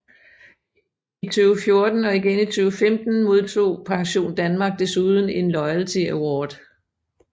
I 2014 og igen i 2015 modtog PensionDanmark desuden en Loyalty Award